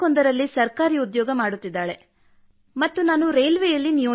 we are three members ladies only but my father giving very encourage to work